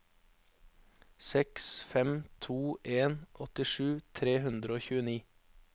seks fem to en åttisju tre hundre og tjueni